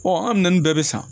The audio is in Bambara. an minɛnni bɛɛ bɛ san